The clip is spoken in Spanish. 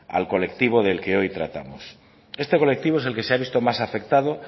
al colectivo del que hoy tratamos esta colectivo es el que se ha visto más afectado